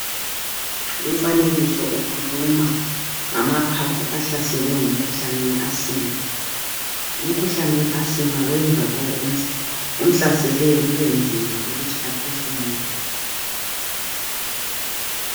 Umfanekiso ukhuluma ngamaphaphu ahlaselwe ngumkhuhlane weAsima. Umkhuhlane weAsima wenza lo omhla omhlaseleyo kubenzima ukuthi aphefumule.